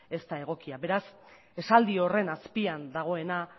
ez da egokia beraz esaldi horren azpian dagoena